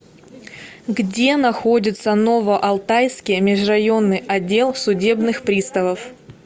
где находится новоалтайский межрайонный отдел судебных приставов